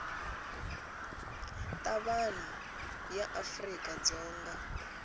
ta vanhu ya afrika dzonga